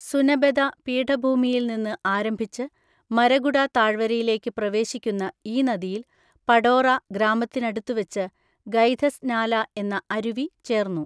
സുനബെദ പീഠഭൂമിയിൽ നിന്ന് ആരംഭിച്ച് മരഗുഡ താഴ്വരയിലേക്ക് പ്രവേശിക്കുന്ന ഈ നദിയില്‍ പടോറ ഗ്രാമത്തിനടുത്തുവച്ച് ഗൈധസ് നാല എന്ന അരുവി ചേർന്നു.